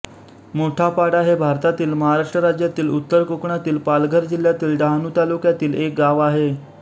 मोठापाडा हे भारतातील महाराष्ट्र राज्यातील उत्तर कोकणातील पालघर जिल्ह्यातील डहाणू तालुक्यातील एक गाव आहे